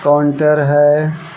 Counter है।